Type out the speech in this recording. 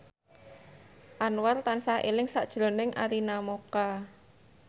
Anwar tansah eling sakjroning Arina Mocca